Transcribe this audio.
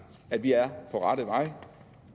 at vi er på rette vej